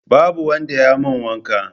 Babu wanda ya mun wanka